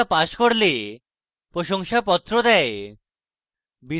online পরীক্ষা pass করলে প্রশংসাপত্র দেয়